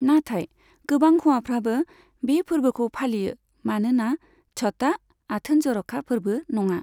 नाथाय, गोबां हौवाफ्राबो बे फोरबोखौ फालियो मानोना छठआ आथोन जर'खा फोरबो नङा।